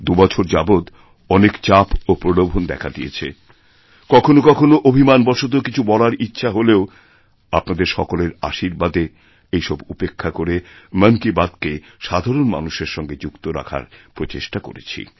দুবছর যাবৎ অনেক চাপ ওপ্রলোভন দেখা দিয়েছে কখনও কখনও অভিমানবশতঃ কিছু বলার ইচ্ছা হলেও আপনাদের সকলেরআশীর্বাদে এই সব উপেক্ষা করে মন কি বাতকে সাধারণ মানুষের সঙ্গে যুক্ত রাখারপ্রচেষ্টা করেছি